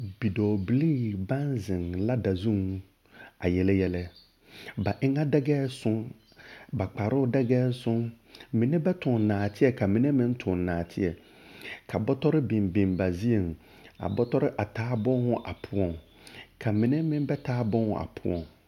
Bidɔɔbilii baŋ zeŋ lada zuŋ a yele yɛlɛ, ba eŋa dɛgɛɛ soŋ, ba kparoo dɛgɛɛ soŋ, mine ba toŋ naateɛ ka mine meŋ toŋ naateɛ, ka bɔtɔre biŋ biŋ ba zie, a bɔtɔre, a taa booho a poɔŋ ka mine meŋ ba taa booho a poɔŋ. 13364